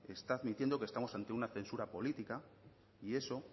está admitiendo que estamos ante una censura política y eso